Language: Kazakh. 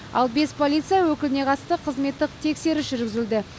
ал бес полиция өкіліне қатысты қызметтік тексеріс жүргізілді